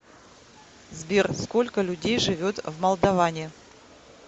сбер сколько людей живет в молдоване